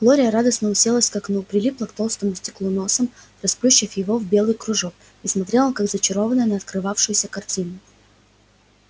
глория радостно уселась к окну прилипла к толстому стеклу носом расплющив его в белый кружок и смотрела как зачарованная на открывавшуюся картину